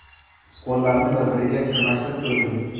Qo‘llarni bir-biriga chirmashtirib, cho‘ziling.